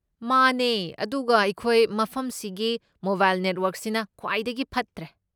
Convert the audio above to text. ꯃꯥꯅꯦ ꯑꯗꯨꯒ ꯑꯩꯈꯣꯏ ꯃꯐꯝꯁꯤꯒꯤ ꯃꯣꯕꯥꯏꯜ ꯅꯦꯠꯋꯔꯛꯁꯤꯅ ꯈ꯭ꯋꯥꯏꯗꯒꯤ ꯐꯠꯇ꯭ꯔꯦ꯫